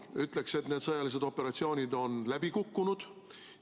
Ütleksin, et need sõjalised operatsioonid on läbi kukkunud.